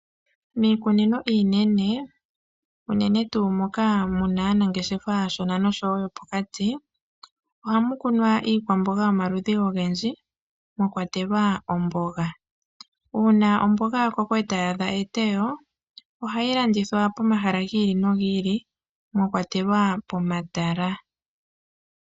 Miikunino iinene, unene tuu moka muna aanangeshefa aashona nosho woo yopokati ohamu kunwa iikwamboga yomaludhi oyindji mwa kwatelwa omboga. Uuna omboga yakoko e tayi a dha e te yo ohayi landithwa pomahala giili nogiili mwa kwatelwa pomatala.